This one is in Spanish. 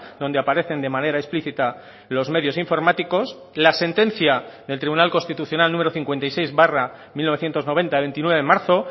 donde aparecen de manera explícita los medios informáticos la sentencia del tribunal constitucional número cincuenta y seis barra mil novecientos noventa veintinueve de marzo